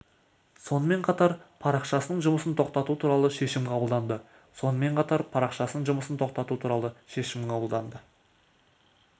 сонымен қатар парақшасының жұмысын тоқтату туралы шешім қабылданды сонымен қатар парақшасының жұмысын тоқтату туралы шешім қабылданды